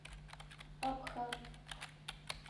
абха